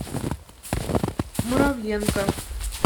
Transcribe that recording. муравленко